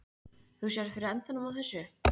Þú sérð fyrir endanum á þessu?